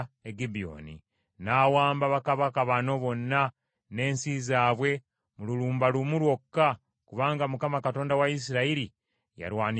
N’awamba bakabaka bano bonna n’ensi zaabwe mu lulumba lumu lwokka kubanga Mukama Katonda wa Isirayiri yalwanirira Isirayiri.